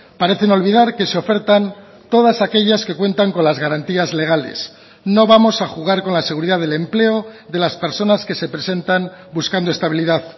parecen olvidar que se ofertan todas aquellas que cuentan con las garantías legales no vamos a jugar con la seguridad del empleo de las personas que se presentan buscando estabilidad